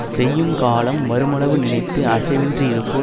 செய்யுங்காலம் வருமளவு நினைத்து அசைவின்றி யிருப்பார்